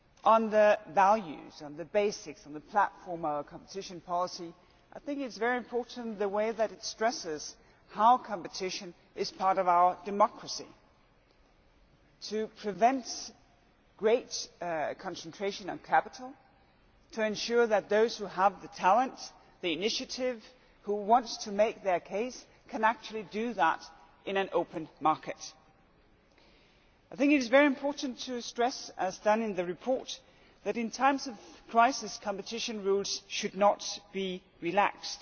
On the values, the basics and the platform of our competition policy, I think it is very important that it stresses how competition is part of our democracy, and this prevents great concentration on capital and ensures that those who have the talent and the initiative who want to make their case can actually do that in an open market. I think it is very important to stress as is done in the report that, in times of crisis, competition rules should not be relaxed.